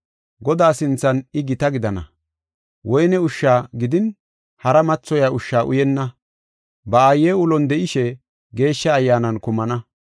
Godaa sinthan I gita gidana; woyne ushshi gidin hara mathoyiya ushsha uyenna. Ba aaye ulon de7ishe Geeshsha Ayyaanan kumana.